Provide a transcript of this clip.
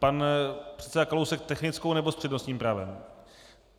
Pan předseda Kalousek technickou nebo s přednostním právem?